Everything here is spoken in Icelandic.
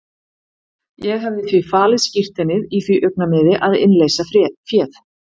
Ég hefði því falið skírteinið í því augnamiði að innleysa féð.